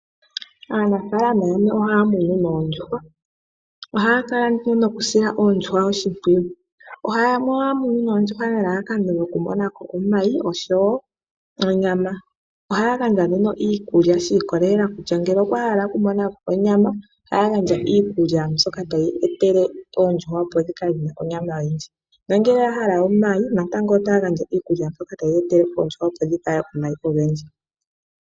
Aanafalama yamwe ohaya munu oondjuhwa ohaya kala nduno nokusila oondjuhwa oshimpwiyu nelalakano oku monako omayi oshowo onyama. Ohaya gandja iikulya shi ikolelela kutya ngele okwa hala oku monako onyama ohaya gandja iikulya mbyoka tayi etele oondjuhwa dhi kale dhina onyama oyindji nongele oya hala omayi otaya gandja iikulya mbyoka tayi etele oondjuhwa dhi vale omayi ogendji.